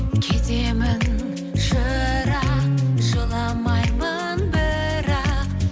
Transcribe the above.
кетемін шырақ жыламаймын бірақ